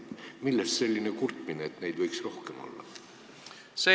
Millest selline kurtmine, et neid võiks rohkem olla?